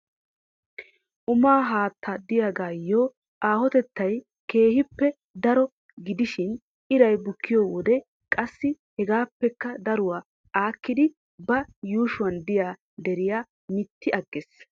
Umaa haatta diyagayyo aahotetayi keehippe daro gidishi iraay bukkiyo wode qassi hegaappekka daruwa aakkidi ba yuushuwan diya deriya mitti agges.